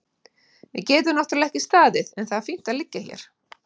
Við getum náttúrlega ekki staðið en það er fínt að liggja hérna.